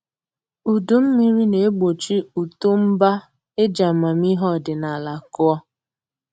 Udu mmiri na-egbochi uto mba eji amamihe ọdịnaala kụọ